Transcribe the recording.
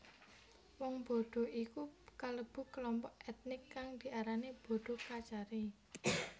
Wong Bodo iku kalebu klompok ètnik kang diarani Bodo Kachari